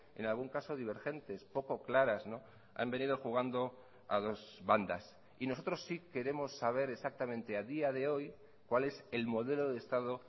en algún caso divergentes poco claras han venido jugando a dos bandas y nosotros sí queremos saber exactamente a día de hoy cuál es el modelo de estado